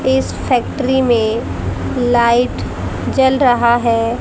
इस फैक्ट्री में लाइट जल रहा है।